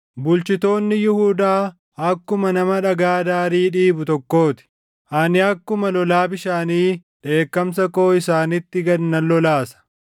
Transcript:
Bulchitoonni Yihuudaa akkuma nama dhagaa daarii dhiibu tokkoo ti. Ani akkuma lolaa bishaanii dheekkamsa koo isaanitti gad nan lolaasa.